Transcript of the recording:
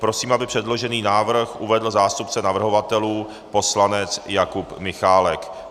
Prosím, aby předložený návrh uvedl zástupce navrhovatelů poslanec Jakub Michálek.